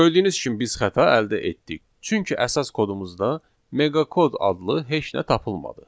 Gördüyünüz kimi biz xəta əldə etdik, çünki əsas kodumuzda meqa kod adlı heç nə tapılmadı.